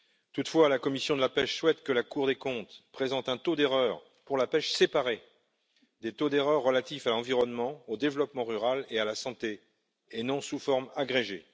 Toutefois, la commission de la pêche souhaite que la Cour des comptes présente un taux d'erreur pour la pêche séparé des taux d'erreur relatifs à l'environnement, au développement rural et à la santé, et non sous forme agrégée.